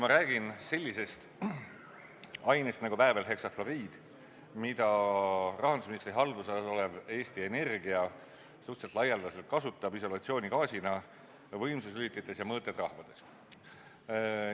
Ma räägin sellisest ainest nagu väävelheksafluoriid, mida rahandusministri haldusalas olev Eesti Energia kasutab suhteliselt laialdaselt islolatsioonigaasina võimsuslülitites ja mõõtetrafodes.